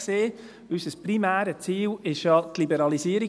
Unser primäres Ziel war ja die Liberalisierung.